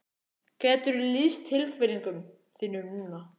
Geturðu lýst tilfinningum þínum núna?